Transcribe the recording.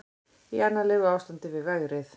Í annarlegu ástandi á vegrið